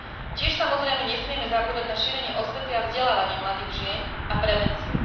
Tiež samozrejme nesmieme zabúdať na šírenie osvety a vzdelávanie mladých žien a prevenciu.